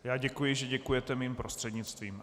Já děkuji, že děkujete mým prostřednictvím.